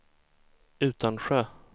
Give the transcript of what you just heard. Utansjö